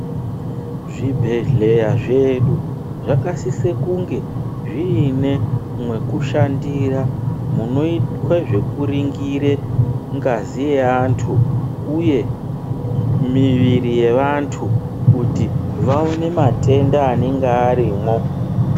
Zvibhedhleya zvedu, zvakasise kunge zviine mwekushandira ,munoitwe zvekuringire ngazi yeantu uye miviri yevantu, kuti vaone matenda anenge arimwo.